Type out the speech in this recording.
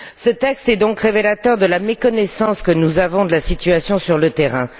Ce texte est donc révélateur de la méconnaissance que nous avons de la situation sur le terrain.